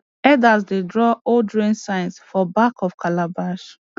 elders dey draw old rain signs for back of calabash